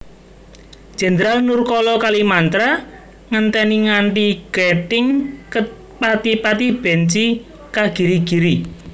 Jendral Nurkala Kalimantra ngenteni nganti gething kepatipati benci kagirigiri